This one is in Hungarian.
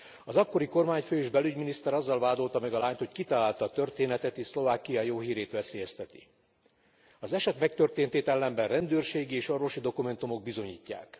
Az akkori kormányfő és belügyminiszter azzal vádolta meg a lányt, hogy kitalálta a történetet és Szlovákia jó hírét veszélyezteti. Az eset megtörténtét ellenben rendőrségi és orvosi dokumentumok bizonyítják.